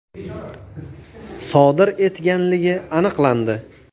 sodir etganligi aniqlandi.